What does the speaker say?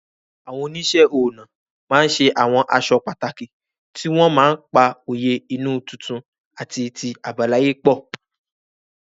Àwọn oníṣẹ́ ọnà ma ṣe àwọn aṣọ pàtàkì tí wọ́n ma pa òye inú tuntun àti ti àbáláyé pọ̀.